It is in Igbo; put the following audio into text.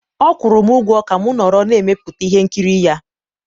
ọ kwụrụ m ụgwọ ka m nọrọ na mmepụta ihe nkiri ya